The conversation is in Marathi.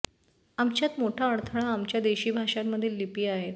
आमच्यात मोठा अडथळा आमच्या देशी भाषांमधील लिपी आहेत